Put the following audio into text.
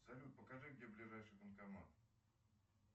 салют покажи где ближайший банкомат